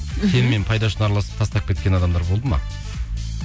мхм сенімен пайдасы үшін араласып тастап кеткен адамдар болды ма